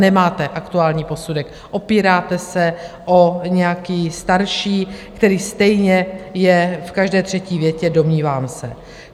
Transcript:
Nemáte aktuální posudek, opíráte se o nějaký starší, který stejně je v každé třetí větě "domnívám se".